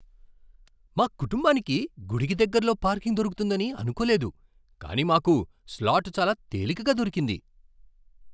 మా కుటుంబానికి గుడికి దగ్గరలో పార్కింగ్ దొరుకుతుందని అనుకోలేదు, కానీ మాకు స్లాట్ చాలా తేలికగా దొరికింది.